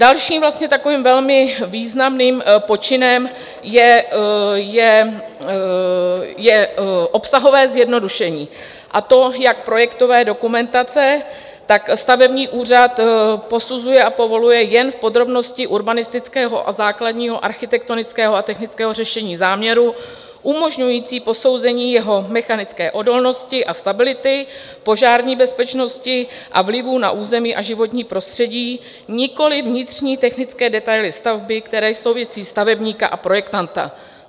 Dalším takovým velmi významným počinem je obsahové zjednodušení, a to jak projektové dokumentace, tak stavební úřad posuzuje a povoluje jen v podrobnosti urbanistického a základního architektonického a technického řešení záměrů umožňující posouzení jeho mechanické odolnosti a stability, požární bezpečnosti a vlivu na území a životní prostředí, nikoliv vnitřní technické detaily stavby, které jsou věcí stavebníka a projektanta.